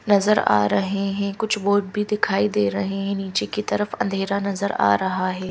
नजर आ रहे हैं कुछ बोर्ड भी दिखाई दे रहे हैं नीचे की तरफ अंधेरा नजर आ रहा है।